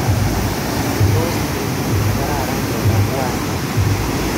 Tos betut nekararan keba Pwani?